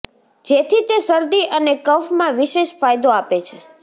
જેથી તે શરદી અને કફમાં વિશેષ ફાયદો આપે છે